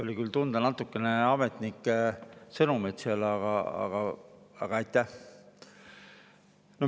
Oli küll tunda natukene ametnike sõnumeid seal, aga aitäh.